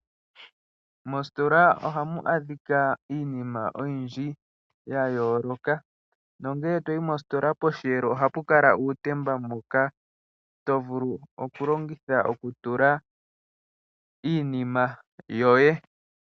Mositola ohamu adhika iinima oyindji ya yooloka. Nongele to yi mositola posheelo ohapu kala uutemba mboka to vulu okulongitha okutula iinima yoye.